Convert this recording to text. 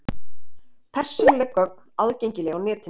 Persónuleg gögn aðgengileg á netinu